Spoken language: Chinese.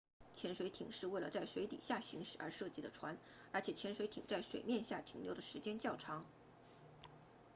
潜水艇是为了在水底下行驶而设计的船而且潜水艇在水面下停留的时间较长